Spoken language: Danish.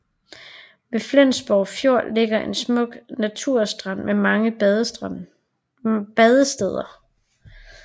Ved Flensborg Fjord ligger en smuk naturstrand med mange badesteder